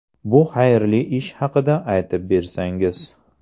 Bu xayrli ish haqida aytib bersangiz.